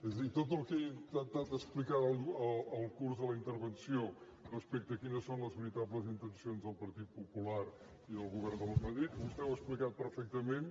és a dir tot el que he intentat explicar al curs de la intervenció respecte de quines són les veritables intencions del partit popular i del govern de madrid vostè ho ha explicat perfectament